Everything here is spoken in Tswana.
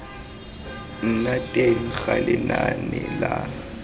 nna teng ga lenane la